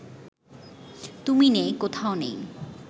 তুমি নেই, কোথাও নেই